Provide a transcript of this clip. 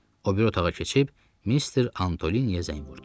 O biri otağa keçib Mister Antoliniyə zəng vurdum.